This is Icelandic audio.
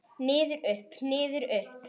Niður, upp, niður upp.